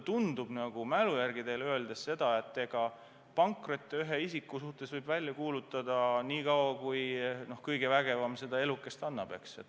Kui mälu järgi teile vastata, siis mulle tundub, et pankrotte ühe isiku suhtes võib välja kuulutada nii kaua, kui kõigevägevam talle elukest annab.